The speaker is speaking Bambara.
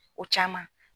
O caman